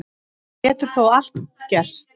Enn getur þó allt gerst